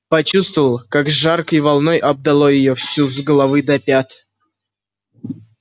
почувствовала как жаркой волной обдало её всю с головы до пят